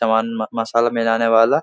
मसला मिलाने वाला --